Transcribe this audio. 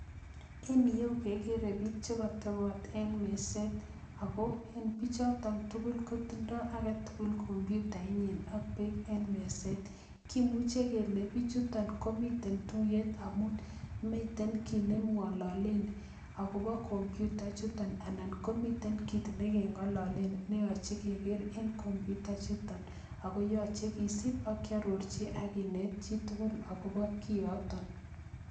En yeu, kegere biik che katobot en meset. Ago en bichoton tugul kotindoi age tugul kompyutait nyin ak beek en meset. Kimuche kelen bichuton komiten tuyet amun miten kiit ne mwalalen agobo kompyuta chuton anan komiten kiit ne keng'alalen ne yachei keger en kompyuta chuton. Ago yachei kisub akiarorchin akinet chitugul agobo kiy yoton